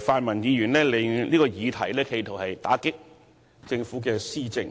泛民議員企圖利用這議題來打擊政府的施政。